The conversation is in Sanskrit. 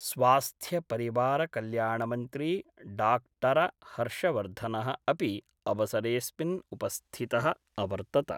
स्वास्थ्यपरिवारकल्याणमंत्री डॉक्टर हर्षवर्धनः अपि अवसरेस्मिन् उपस्थितः अवर्तत।